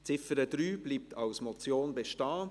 Die Ziffer 3 bleibt als Motion bestehen.